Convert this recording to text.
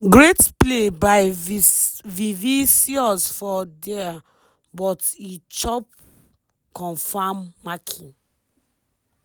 great play by vivicius for dia but e chop confam marking.